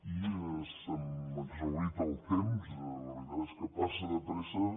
i se m’ha exhaurit el temps la veritat és que passa de pressa